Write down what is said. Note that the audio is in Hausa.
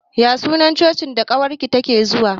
Ya sunan Cocin da ƙawar ki take zuwa?